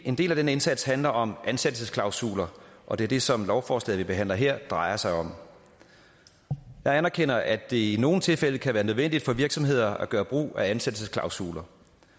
en del af den indsats handler om ansættelsesklausuler og det er det som lovforslaget vi behandler her drejer sig om jeg anerkender at det i nogle tilfælde kan være nødvendigt for virksomheder at gøre brug af ansættelsesklausuler